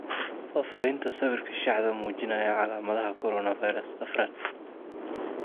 Fafahinta sawirka Shaxda muujinaya calaamadaha coronavirus afrad.